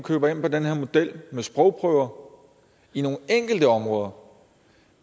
køber ind på den her model med sprogprøver i nogle enkelte områder